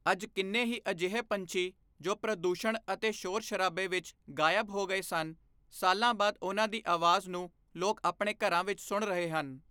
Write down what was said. ਅੱਜ ਕਿੰਨੇ ਹੀ ਅਜਿਹੇ ਪੰਛੀ ਜੋ ਪ੍ਰਦੂਸ਼ਣ ਅਤੇ ਸ਼ੋਰ ਸ਼ਰਾਬੇ ਵਿੱਚ ਗਾਇਬ ਹੋ ਗਏ ਸਨ, ਸਾਲਾਂ ਬਾਅਦ ਉਨ੍ਹਾਂ ਦੀ ਆਵਾਜ਼ ਨੂੰ ਲੋਕ ਆਪਣੇ ਘਰਾਂ ਵਿੱਚ ਸੁਣ ਰਹੇ ਹਨ।